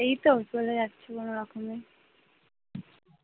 চলে যাচ্ছে কোনো রকমে